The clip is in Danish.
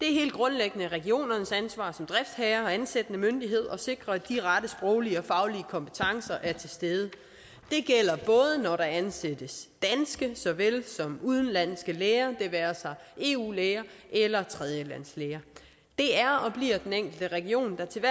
helt grundlæggende regionernes ansvar som driftsherrer og ansættende myndighed at sikre at de rette sproglige og faglige kompetencer er til stede det gælder både når der ansættes udenlandske læger det være sig eu læger eller tredjelandslæger det er og bliver den enkelte region der til